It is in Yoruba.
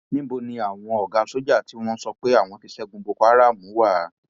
níbo ni àwọn ọgá sọjà tí wọn ń sọ pé àwọn ti ṣẹgun boko haram wa